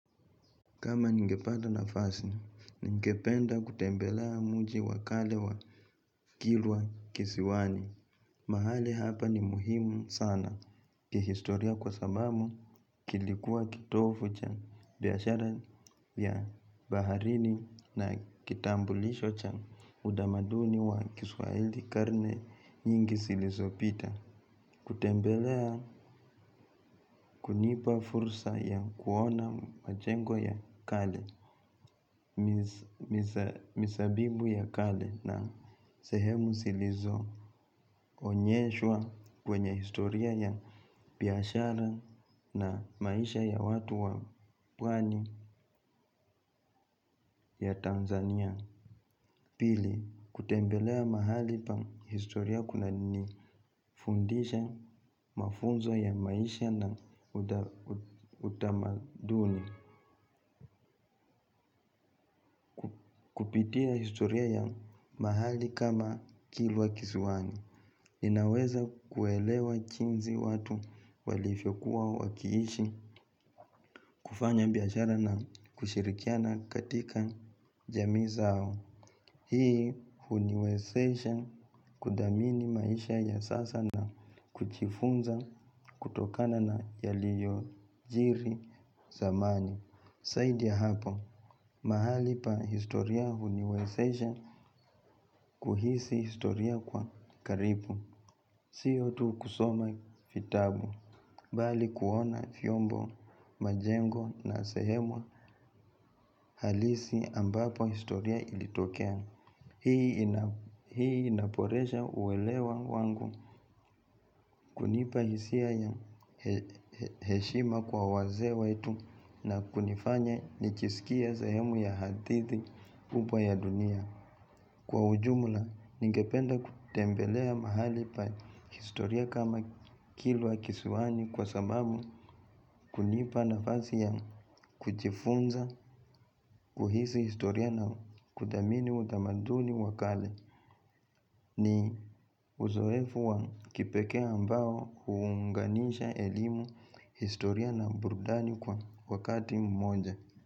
Kama ningepata nafasi, ningependa kutembelea mji wa kale wa kilwa kisiwani. Mahali hapa ni muhimu sana. Kihistoria kwa sababu, kilikuwa kitovu cha biashara ya baharini na kitambulisho cha utamaduni wa kiswaili karne nyingi zilizopita. Kutembelea kunipa fursa ya kuona majengo ya kale. Mizabibu ya kale na sehemu zilizoonyeshwa kwenye historia ya biashara na maisha ya watu wa pwani ya Tanzania pili kutembelea mahali pa historia kunanifundisha mafunzo ya maisha na utamaduni. Kupitia historia ya mahali kama kilwa kisiwani ninaweza kuelewa jinsi watu walivyokuwa wakiishi kufanya biashara na kushirikiana katika jamii zao. Hii huniwezesha kudhamini maisha ya sasa na kujifunza kutokana na yaliyojiri zamani. Zaidi ya hapo, mahali pa historia huniwezesha kuhisi historia kwa karibu. Sio tu kusoma vitabu, bali kuona vyombo majengo na sehemu halisi ambapo historia ilitokea. Hii inaboresha uwelewa wangu kunipa hisia ya heshima kwa wazee wetu na kunifanya nijisikie sehemu ya hadithi kubwa ya dunia. Kwa ujumla, ningependa kutembelea mahali pa historia kama kilwa kiswani kwa sababu kunipa nafasi ya kujifunza kuhisi historia na kudhamini utamaduni wa kale. Ni uzoefu wa kipekee ambao huunganisha elimu historia burudani kwa wakati mmoja.